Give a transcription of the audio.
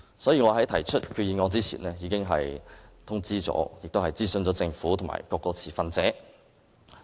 所以，我在提出決議案之前，已經通知和諮詢政府和各個持份者。